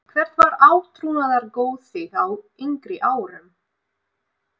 Hvert var átrúnaðargoð þitt á yngri árum?